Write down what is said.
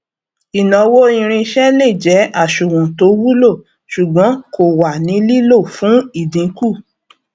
ìnáwó irinṣẹ lè jẹ àsùnwọn tó wulo ṣùgbọn kò wà ní lílò fún ìdínkù